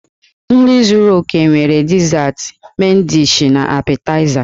Nri zúrú óké nwere dizat, men dishi, na apetaịza.